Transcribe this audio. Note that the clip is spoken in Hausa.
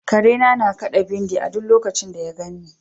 Karena na kaɗa bindi a duk lokacin da ya ganni.